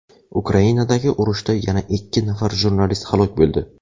Ukrainadagi urushda yana ikki nafar jurnalist halok bo‘ldi.